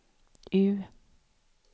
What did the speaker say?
U